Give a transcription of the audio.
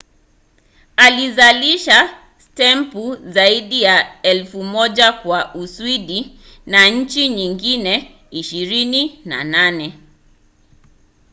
alizalisha stempu zaidi ya 1,000 kwa uswidi na nchi nyingine 28